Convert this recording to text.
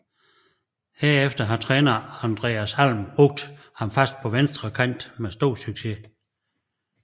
Herefter har træner Andreas Alm brugt ham fast på venstre kant med stor succes